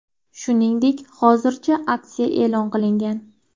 Shuningdek, hozirda aksiya e’lon qilingan.